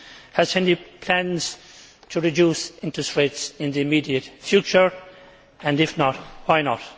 Has he any plans to reduce interest rates in the immediate future, and if not, why not?